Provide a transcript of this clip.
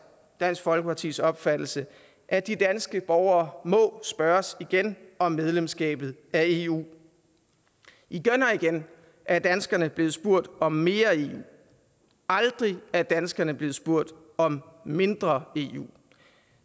dansk folkepartis opfattelse at de danske borgere må spørges igen om medlemskabet af eu igen og igen er danskerne blevet spurgt om mere eu aldrig er danskerne blevet spurgt om mindre eu